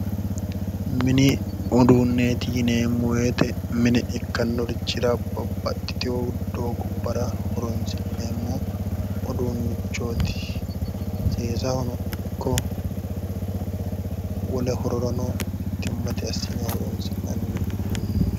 Mini uduunneeti yineemo woyte mine ikkannorichira babbaxitewo doogubara horonsineemo uduunnichooti, seesahono ikko wole hororano mitimatte asine horonnisinanni uduunnichooti